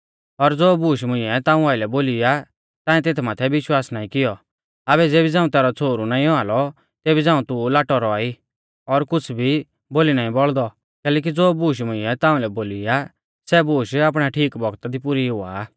और ज़ो बूश मुंइऐ ताऊं आइलै बोली आ ताऐं तेथ माथै विश्वास नाईं कियौ आबै ज़ेबी झ़ांऊ तैरौ छ़ोहरु नाईं औआ लौ तेबी झ़ांऊ तू लाटौ रौआ ई और कुछ़ भी बोली नाईं बौल़दौ कैलैकि ज़ो बूश मुंइऐ ताऊं लै बोली आ सै बूश आपणै ठीक बौगता दी पुरी हुआ आ